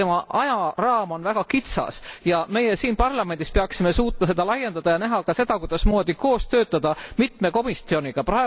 Selle ajaraam on väga kitsas ja meie siin parlamendis peaksime suutma seda laiendada ning näha ka seda, kuidas koos töötada mitme komisjoniga.